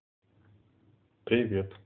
привет